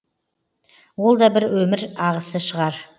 ол да бір өмір ағысы шығар